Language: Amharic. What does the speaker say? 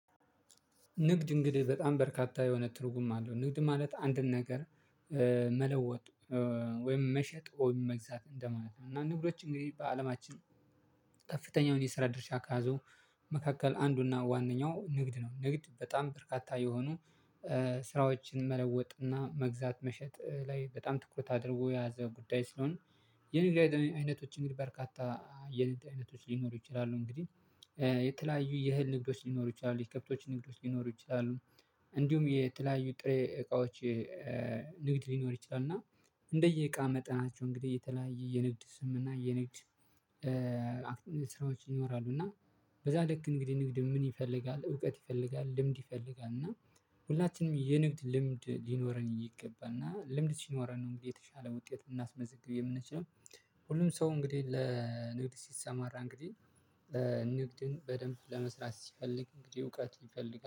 ንግድ እንግዲህ በጣም በርካታ የሆነ ትርጉም አለው ንግድ ማለት አንድን ነገር እ መለወጥ ወይም መሸጥ ወይም መግዛት እንደማለት ነው። እና ንግዶች እንግዲህ በአለማችን ከፍተኛውን የስራ ድርሻ ከያዘው መካከል አንዱና ዋነኛው ንግድ ነው። ንግድ በጣም በርካታ የሆኑ እ ስራዎችን መለወጥና መግዛት መሸጥ ላይ በጣም ትኩረት አድርጎ የያዘ ጉዳይ ስለሆነ የንግድ አይተ አይነቶች እንግዲህ በርካታ የንድ አይነቶች ሊኖሩ ይችላሉ። እንግዲህ የተለያዩ የእህል ንግዶች ሊኖሩ ይችላሉ የከብቶች ንግዶች ሊኖሩ ይችላሉ። እንዲሁም የተለያዩ ጥሬ እቃዎች እ ንግድ ሊኖር ይችላል። እና እንደየእቃ መጠናቸው እንግዲህ የተለያየ የንግድ ስም እና የንግድ እ እ ስራዎች ይኖራሉ። እና በዛ ልክ እንግዲህ ንግድ ምን ይፈልጋል እውቀት ይፈልጋል ልምድ ይፈልጋል እና ሁላችንም የንግድ ልምድ ሊኖረን ይገባልና ልምድ ሲኖረን ነው እንግዲህ የተሻለ ውጤት ልናስመዝግብ የምንችለው። ሁሉም ሰው እንግዲህ ለንግድ ሲሰማራ እንግዲህ በ ንግድን በደንብ ለመስራት ሲፈልግ እንግዲህ እውቀት ይፈልጋል